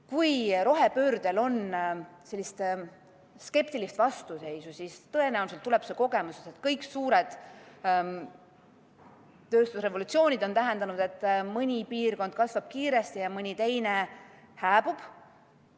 Kui rohepöördel on sellist skeptilist vastuseisu, siis tõenäoliselt tuleb see kogemusest, et kõigi suurte tööstusrevolutsioonide korral on mõni piirkond kasvanud kiiresti ja mõni teine hääbunud.